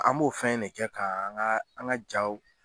An m'o fɛn ne kɛ ka an ka an ka jaaw